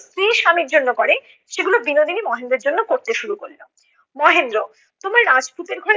স্ত্রী স্বামীর জন্যে করে সেগুলো বিনোদিনী মহেন্দ্রের জন্য করতে শুরু করলো। মহেন্দ্র- তুমি রাজপুতের ঘরে